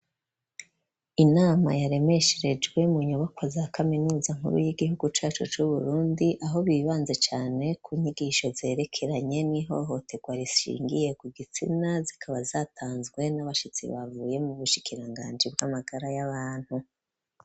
Inama yaremesherejwe mu nyubako za kaminuza nkuru y'igihugu cacu c'uBurundi aho bibanze cane ku nyigisho zerekeranye n'ihohoterwa rishingiye ku gitsina zikaba zatanzwe n'abashitsi bavuye mu bushikiranganji bw'amagara y'abantu.